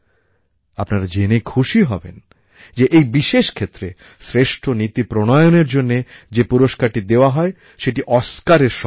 আপনারা জেনে খুশি হবেন যে এই বিশেষ ক্ষেত্রে শ্রেষ্ঠ নীতি প্রণয়নের জন্য যে পুরস্কারটি দেওয়া হয় সেটি অস্কার Oscarএর সমান